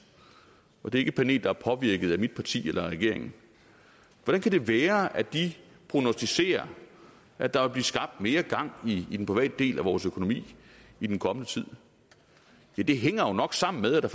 og det er ikke et panel der er påvirket af mit parti eller af regeringen hvordan det kan være at de prognosticerer at der vil blive skabt mere gang i den private del af vores økonomi i den kommende tid ja det hænger jo nok sammen med at der